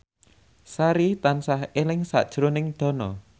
Sari tansah eling sakjroning Dono